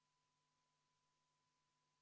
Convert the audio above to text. Kohalolijaks registreerus 57 rahvasaadikut.